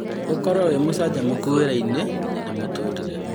ũkorwo wĩ mũcanjamũku wĩra-inĩ na mũtũrĩre